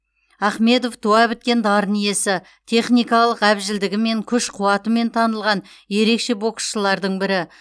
ахмедов туа біткен дарын иесі техникалық әбжілдігімен күш қуатымен танылған ерекше боксшылардың бірі